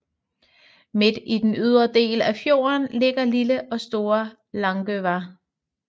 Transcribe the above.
Midt i den ydre del af fjorden ligger lille og store Langøya